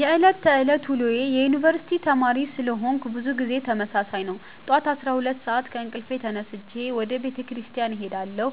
የዕለት ተዕለት ውሎዬ የዩነኒቨርስቲ ተማሪ ስለሆነኩ ብዙ ጊዜ ተመሳሳይ ነው። ጠዋት 12:00 ሰአት ከእንቅልፌ ተነስቼ ወደ ቤተክርስቲያን እሄዳለሁ